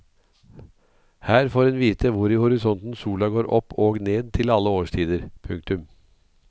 Her får en vite hvor i horisonten sola går opp og ned til alle årstider. punktum